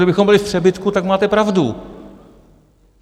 Kdybychom byli v přebytku, tak máte pravdu.